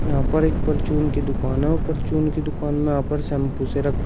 यहां पर एक परचून की दुकान है और परचून की दुकान में अपर शैंपू से रखें--